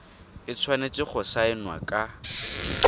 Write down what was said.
e tshwanetseng go saenwa ka